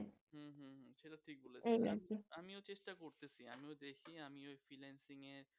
আমিও চেষ্টা করতেসি আমিও দেখি আমি ঐ freelancing এ